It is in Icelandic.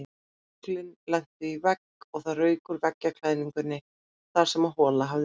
Höglin lentu í veggnum og það rauk úr veggklæðningunni þar sem hola hafði myndast.